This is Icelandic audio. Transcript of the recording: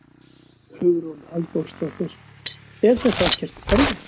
Hugrún Halldórsdóttir: Er þetta ekkert erfitt?